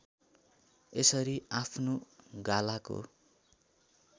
यसरी आफ्नो गालाको